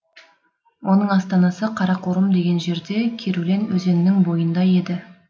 оның астанасы қарақорым деген жерде керулен өзенінің бойында еді